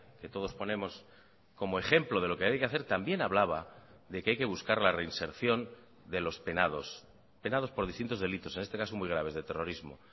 que todos ponemos como ejemplo de lo que hay que hacer también hablaba de que hay que buscar la reinserción de los penados penados por distintos delitos en este caso muy graves de terrorismo